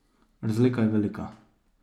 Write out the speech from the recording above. Razlika je velika.